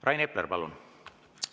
Rain Epler, palun!